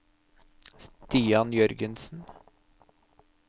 Stian Jørgensen